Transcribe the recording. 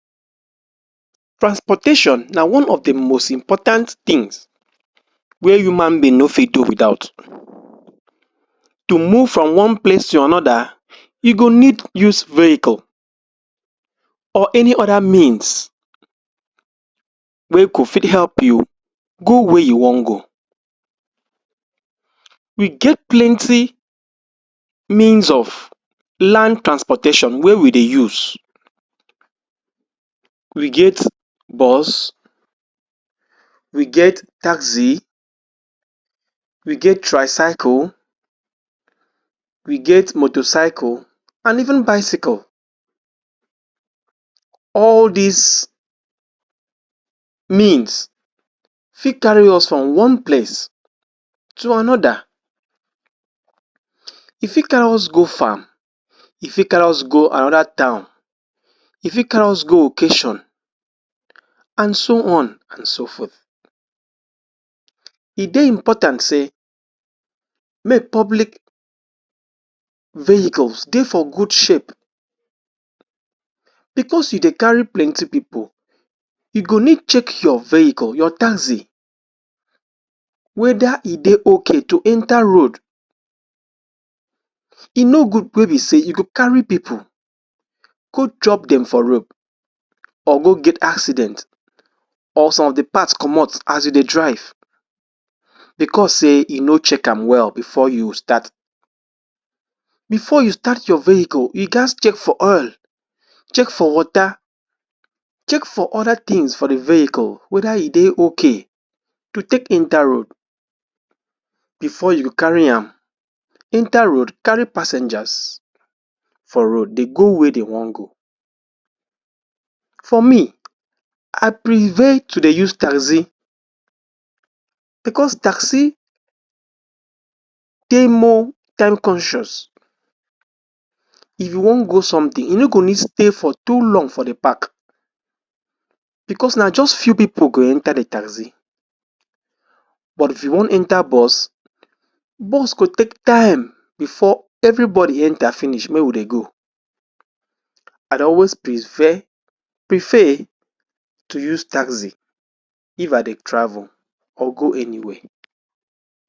Transportation na one of the most important things wey human being no fit do without. To move from one place to another you go need use vehicle, or any other means wey go fit help you go where you wan go. We get plenty means of land transportation wey we dey use. We get bus, we get taxi, we get tricycle, we get motorcycle and even bicycle. All this means fit carry us from one place to another. E fit carry us go farm, e fit carry us go another town, e fit carry us go occasion and so on and so forth. E dey important say make public vehicles dey for good shape because you dey carry plenty people. E go need check your vehicle, your taxi whether e dey okay to enter road. E no good wey be say you go carry people go drop dem for road or go get accident or some the parts comot as you dey drive because say you no check am well before you start. Before you start your vehicle, you ghats check for oil, check for water, check for other things for the vehicle whether e dey okay to take enter road before you carry am enter road, carry passengers for road dey go where dey wan go. For me, I prefer to dey use taxi because taxi dey more time conscious. If you wan go something, you no go need stay for too long for the park because na just few people go enter the taxi but if you wan enter bus, bus go take time before everybody enter finish make we dey go. I dey always prefer prefer to use taxi if I dey travel or go anywhere.